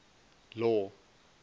law